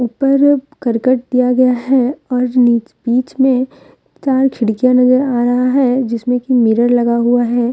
ऊपर अब करकट दिया गया है और नि बीच में चार खिड़कियां नजर आ रहा है जिसमें कि मिरर लगा हुआ है।